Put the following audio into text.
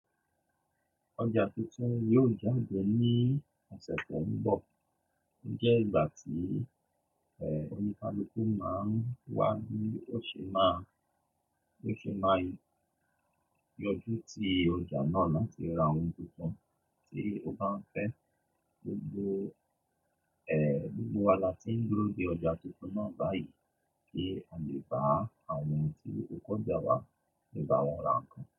Ọjà tuntun yóò jáde ní ọ̀sẹ̀ tó ń bọ̀. Ó jẹ́ ìgbà tí, ẹ, oníkalúkú máa ń wá ní ó ṣe má, ó ṣe máa yọjú ti ọjà náà láti ra ohun tuntun tí ó bá ń fẹ́. Gbogbo, ẹ, gbogbo wa la ti ń dúró de ọjà tuntun náà báyìí kí a lè bá àwọn tí kò já wa, lè bá wọn ra ǹkan.